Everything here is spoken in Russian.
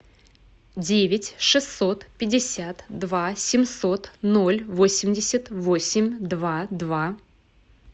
девять шестьсот пятьдесят два семьсот ноль восемьдесят восемь два два